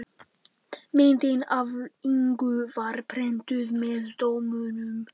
Myndin af Ingu var prentuð með dómunum.